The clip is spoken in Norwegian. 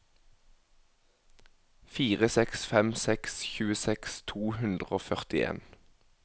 fire seks fem seks tjueseks to hundre og førtien